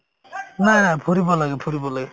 নাই নাই ফুৰিব লাগে ফুৰিব লাগে